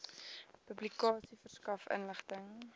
publikasie verskaf inligting